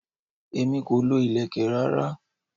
Èmi o kì í lo ilẹ̀kè rárá.